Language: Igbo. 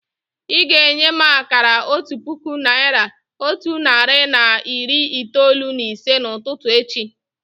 Ị́ ga-enye m akara otu puku naị́ra, otu narị na iri itoolu na ise n'ụtụtụ echi